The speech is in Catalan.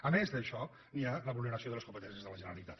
a més d’això hi ha la vulneració de les competències de la generalitat